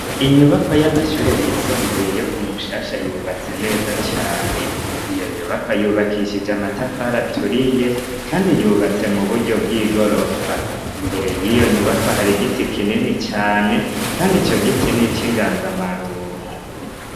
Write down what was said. Inyubakwa y'amashure yisumbuye yo kumushasha yubatse neza cane ,iyo nyubakwa yubakishije amatafari aturiye kandi yubatse mu buryo bw'igorofa, imbere y'iyo nyubakwa hari giti kinini cane kandi ico giti nic'inganzamaronko.